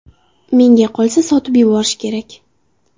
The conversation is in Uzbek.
Menga qolsa sotib yuborish kerak.